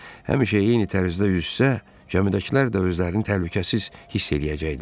Həmişə eyni tərzdə yüzsə, gəmidəkilər də özlərini təhlükəsiz hiss eləyəcəkdilər.